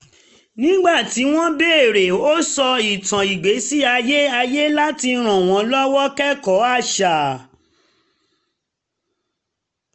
nígbà um tí wọ́n béèrè ó um sọ ìtàn ìgbésí ayé ayé láti ràn wọn lọ́wọ́ kẹ́kọ̀ọ́ àṣà